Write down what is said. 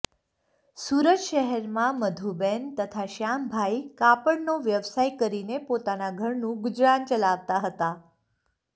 સુરત શહેર માં મધુબેન તથા શ્યામભાઈ કાપડ નો વ્યવસાય કરીને પોતાના ઘરનુ ગુજરાન ચલાવતા હતા